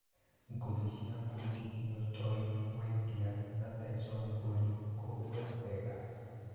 Ngũthi cia ngundi Ndiotoi Weinda na Taison Buri kũhũra Begas.